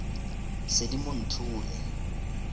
seedimonthole